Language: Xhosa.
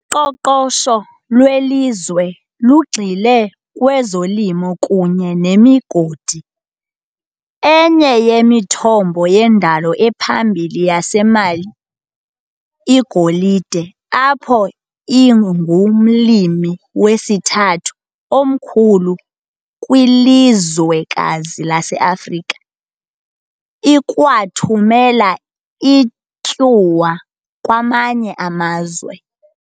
Uqoqosho lwelizwe lugxile kwezolimo kunye nemigodi- enye yemithombo yendalo ephambili yaseMali igolide, apho ingumlimi wesithathu omkhulu kwilizwekazi laseAfrika, ikwathumela ityuwa kwamanye amazwe.